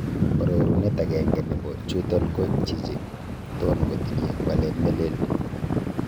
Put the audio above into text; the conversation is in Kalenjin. Orurunet agenge nebo chuton ko chichi ton kotinye walet ne neleel.